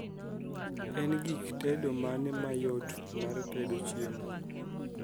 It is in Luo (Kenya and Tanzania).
en gik tedo mane mayot martedo chiemo